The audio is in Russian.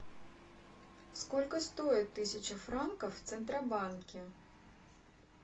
сколько стоит тысяча франков в центробанке